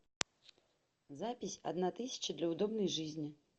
запись одна тысяча для удобной жизни